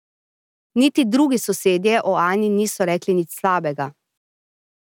Niti drugi sosedje o Ani niso rekli nič slabega.